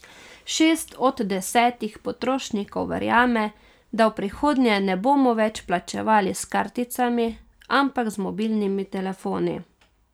Šest od desetih potrošnikov verjame, da v prihodnje ne bomo več plačevali s karticami, ampak z mobilnimi telefoni.